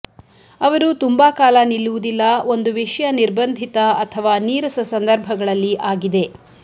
ಅವರು ತುಂಬಾ ಕಾಲ ನಿಲ್ಲುವುದಿಲ್ಲ ಒಂದು ವಿಷಯ ನಿರ್ಬಂಧಿತ ಅಥವಾ ನೀರಸ ಸಂದರ್ಭಗಳಲ್ಲಿ ಆಗಿದೆ